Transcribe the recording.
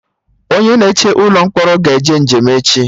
Onye na eche ụlọ mkpọrọ ga-eje njem echi